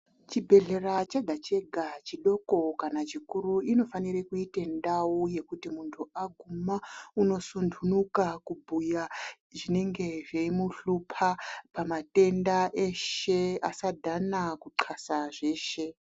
Chibhehlera chega-chega chodoko kana chikuru inofanire kuite ndau yekuti muntu aguma unosundunuka kubhuya zvinenge zveimuhlupa pamatenda eshe. Asadhana kuxasa zveshe.